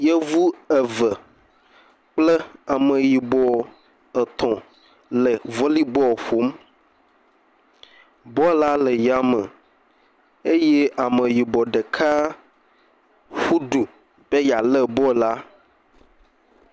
Yevu eve kple ameyibɔ etɔ̃ le vɔlibɔl ƒom. Bɔlu la le yame eye ameyibɔ ɖeka ƒu du be yealé bɔl la.